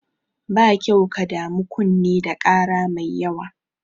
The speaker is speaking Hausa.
Ba kyau ka damu kunne da ƙara mai yawa.